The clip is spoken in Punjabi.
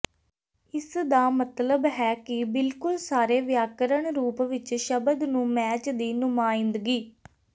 ਇਸ ਦਾ ਮਤਲਬ ਹੈ ਕਿ ਬਿਲਕੁਲ ਸਾਰੇ ਵਿਆਕਰਣ ਰੂਪ ਵਿੱਚ ਸ਼ਬਦ ਨੂੰ ਮੈਚ ਦੀ ਨੁਮਾਇੰਦਗੀ